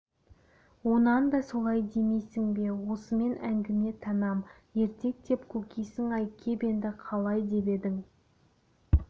онан да солай демейсің бе осымен әңгіме тәмам ертек деп көкисің-ай кеп енді қалай деп едің